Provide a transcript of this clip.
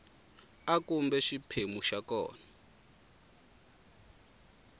a kumbe xiphemu xa kona